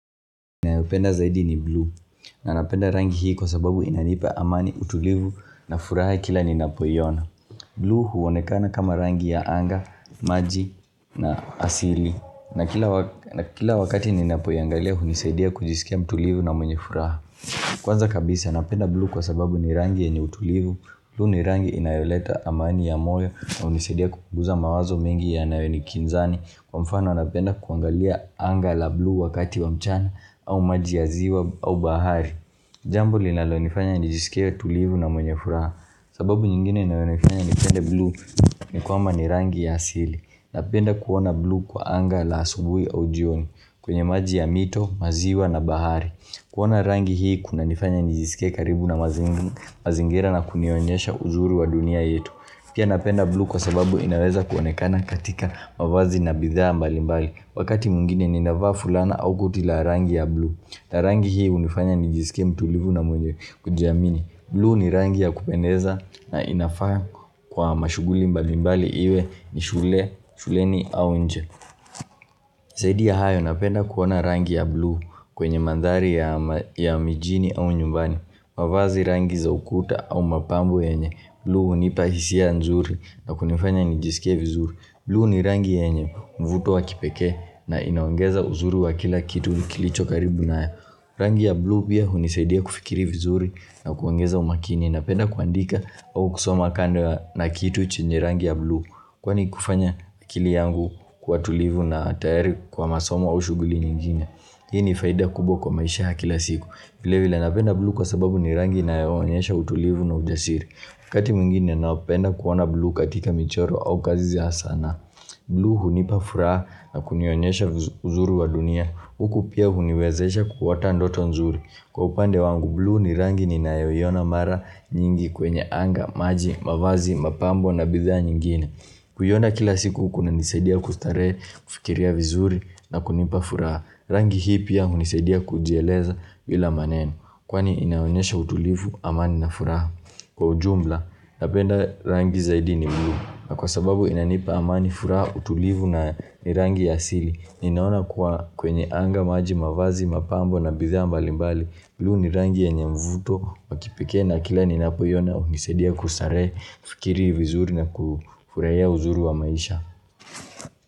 Na yupenda zaidi ni blue. Na napenda rangi hii kwa sababu inanipa amani utulivu na furaha kila ninapoyona. Blue huonekana kama rangi ya anga, maji na asili. Na kila wakati ninapoyangalia unisaidia kujisikia mtulivu na mwenye furaha. Kwanza kabisa napenda blue kwa sababu ni rangi ya utulivu. Blue ni rangi inayoleta amani ya moyo na unisaidia kukuguza mawazo mengi ya nawe ni kinzani. Kwa mfano anapenda kuangalia anga la blue wakati wa mchana au maji ya ziwa au bahari Jambo linalonifanya nijisikewe tulivu na mwenye furaha sababu nyingine inalonifanya nipende blue ni kwama ni rangi ya hasili Napenda kuona blue kwa anga la asubui au jioni kwenye maji ya mito, maziwa na bahari kuona rangi hii kuna nifanya nijisikewe karibu na mazingira na kunionyesha ujuri wa dunia yetu Pia napenda blue kwa sababu inaweza kuonekana katika mwavazi na bidhaa mbali mbali Wakati mungine ninafaa fulana au kutila rangi ya blue na rangi hii unifanya ni jisike mtuulivu na mwenye kujiamini Blue ni rangi ya kupeneza na inafaa kwa mashughuli mbali mbali iwe ni shule, shuleni au nje Sidi ya hayo napenda kuona rangi ya blue kwenye mandhari ya mijini au nyumbani Mwavazi rangi za ukuta au mapambo yenye Blue hunipa hisia nzuri na kunifanya nijisikia vizuri Blue ni rangi ya enye mvuto wa kipeke na inaongeza uzuri wa kila kitu kilicho karibu na ya Rangi ya blue pia hunisaidia kufikiri vizuri na kuongeza umakini napenda kuandika au kusoma kando na kitu chenye rangi ya blue Kwani kufanya akili yangu kwa tulivu na tayari kwa masoma ushughuli nyingine Hii ni faida kubo kwa maisha ha kila siku vile vila napenda blue kwa sababu ni rangi na uanyesha utulivu na ujasiri kati mwingine naopenda kuona blu katika michoro au kazi zia sana blu hunipa furaha na kunionyesha vizuri wa dunia Huku pia huniwezesha kuwata ndoto nzuri Kwa upande wangu bluu ni rangi ni nayoyona mara nyingi kwenye anga, maji, mavazi, mapambo na bidhaa nyingine Kuyona kila siku kuna nisedia kustarehe, kufikiria vizuri na kunipa furaha Rangi hii pia hunisadia kujieleza vila maneno Kwani inaonyesha utulivu amani na furaha Kwa ujumla, napenda rangi zaidi ni mluu na kwa sababu inanipa amani fura utulivu na nirangi ya sili. Ninaona kwa kwenye anga maji mavazi, mapambo na bidhaa mbali mbali. Bluu nirangi ya enye mvuto, wakipikee na kila ninapo yona unisedia kusare fikiri vizuri na kufuraya uzuru wa maisha.